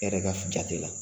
E yɛrɛ ka jate la.